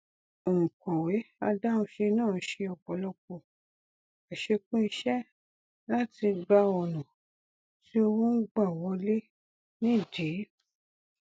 ònkọwé adáhunṣe náà ṣe ọpọlọpọ àṣekún iṣẹ láti gbá ọnà tí owó n gbà wọlé nídìí